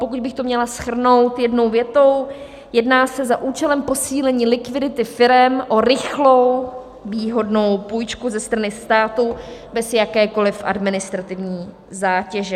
Pokud bych to měla shrnout jednou větou, jedná se za účelem posílení likvidity firem o rychlou výhodnou půjčku ze strany státu bez jakékoliv administrativní zátěže.